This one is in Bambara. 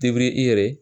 i yɛrɛ